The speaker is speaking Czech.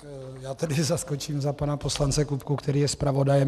Já tedy zaskočím za pana poslance Kupku, který je zpravodajem.